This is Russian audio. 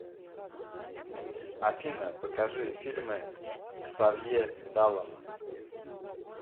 афина покажи фильмы ксавье далана